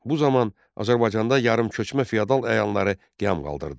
Bu zaman Azərbaycanda yarımköçmə feodal əyanları qiyam qaldırdılar.